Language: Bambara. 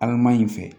Adama in fɛ